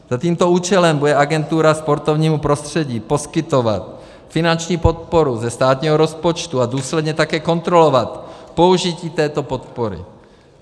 Za tímto účelem bude agentura sportovnímu prostředí poskytovat finanční podporu ze státního rozpočtu a důsledně také kontrolovat použití této podpory.